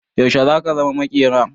Yaushe zaka zama maƙera?